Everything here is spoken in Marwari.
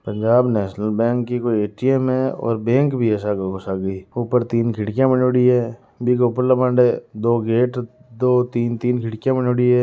पंजाब नैशनल बैंक की कोई ए_टीए_म है और बैंक भी है सागे को सागे ही उपेर तीन खिड़किया बनोड़ी है बीके ऊपर ले मांदे है दो गेट दो तीन तीन खिड़किया बानोडी है।